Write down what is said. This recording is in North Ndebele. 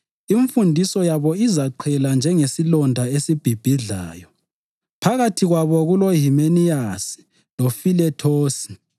Imfundiso yabo izaqhela njengesilonda esibhibhidlayo. Phakathi kwabo kuloHimeniyasi loFilethosi,